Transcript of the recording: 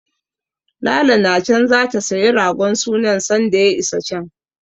Lala na can zata sayi ragon sunan sanda ya isa can.